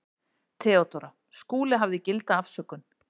THEODÓRA: Skúli hafði gilda afsökun.